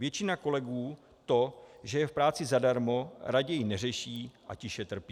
Většina kolegů to, že je v práci zadarmo, raději neřeší a tiše trpí.